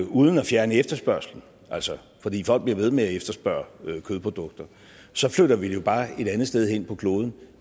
uden at fjerne efterspørgslen altså fordi folk bliver ved med at efterspørge kødprodukter så flytter vi det jo bare et andet sted hen på kloden